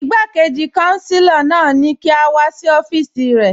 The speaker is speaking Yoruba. Ìgbàkéjì kànsílà náà ni kí a wà sí ọfíìsì rẹ.